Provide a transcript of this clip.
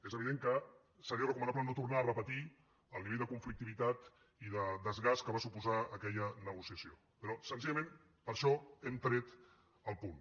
és evident que seria recomanable no tornar a repetir el nivell de conflictivitat i de desgast que va suposar aquella negociació però senzillament per això hem tret el punt